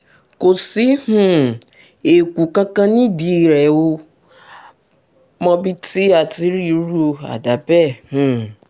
kò sí um èèkù kankan nídìí rẹ̀ o mọbi tí a ti rí irú àdá bẹ́ẹ̀ um